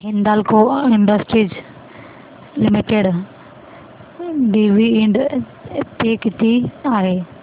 Hindalco industries limited dividend pay किती आहे